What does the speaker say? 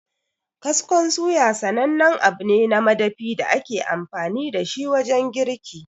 Kaskon suya sanannen abu ne na madafi da ake amfani dashi wajen girki.